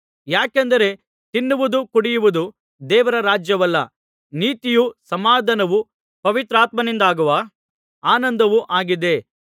ಯಾಕೆಂದರೆ ತಿನ್ನುವುದೂ ಕುಡಿಯುವುದೂ ದೇವರ ರಾಜ್ಯವಲ್ಲ ನೀತಿಯೂ ಸಮಾಧಾನವೂ ಪವಿತ್ರಾತ್ಮನಿಂದಾಗುವ ಆನಂದವೂ ಆಗಿದೆ